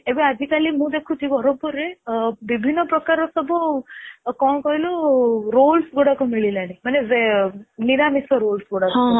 ଏବେ ଆଜିକାଲି ମୁ ଦେଖୁଛି ବ୍ରହ୍ମପୁରରେ ବିଭିନ୍ନ ପ୍ରକାର ସବୁ କଣ କହିଲୁ Rolls ଗୁଡାକ ମିଳିଲାଣି ମାନେ ନିରାମିଷ rolls ଗୁଡାକ ସବୁ.